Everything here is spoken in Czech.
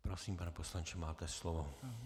Prosím, pane poslanče, máte slovo.